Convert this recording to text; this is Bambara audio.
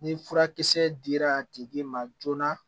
Ni furakisɛ dira a tigi ma joona